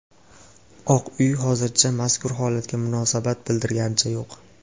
Oq uy hozircha mazkur holatga munosabat bildirganicha yo‘q.